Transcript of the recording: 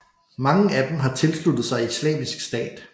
Mange af dem har tilsluttet sig Islamisk Stat